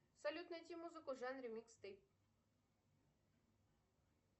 салют найти музыку в жанре микс стейп